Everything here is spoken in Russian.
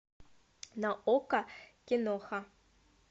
на окко киноха